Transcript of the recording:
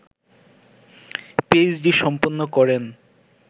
PhD সম্পন্ন করেন